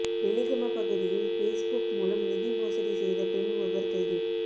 வெலிகம பகுதியில் பேஸ்புக் மூலம் நிதி மோசடி செய்த பெண் ஒருவர் கைது